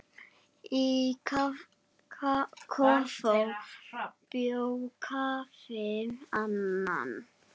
Í kofa bjó Kofi Annan.